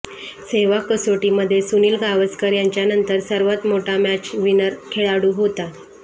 सेहवाग कसोटीमध्ये सुनील गावस्कर यांच्यानंतर सर्वात मोठा मॅचविनर खेळाडू होता